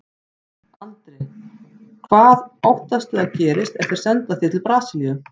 Andri: Hvað óttastu að gerist ef þeir senda þig til Brasilíu?